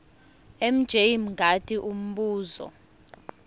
mj mngadi umbuzo